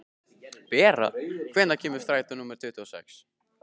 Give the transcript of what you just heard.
Bera, hvenær kemur strætó númer tuttugu og sex?